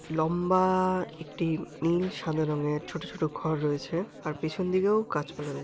ল-ম্বা একটি নীল সাদা রঙের ছোট ছোট ঘর রয়েছে আর পেছন দিকেও গাছপালা রয়ে--